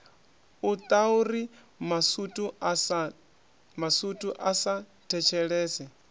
itauri masutu a sa thetshelese